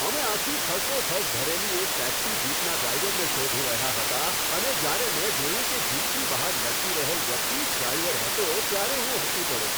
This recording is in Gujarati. અમે આખી ઠસોઠસ ભરેલી એક ટેક્સી જીપનાં ડ્રાઈવરને શોધી રહ્યા હતા અને જયારે મેં જોયું કે જીપની બહાર લટકી રહેલ વ્યક્તિ જ ડ્રાઈવર હતો, ત્યારે હું હસી પડ્યો.